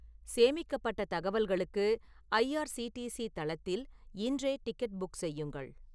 சேமிக்கப்பட்ட தகவல்களுக்கு I R C T C தளத்தில் இன்றே டிக்கெட் புக் செய்யுங்கள்